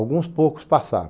Alguns poucos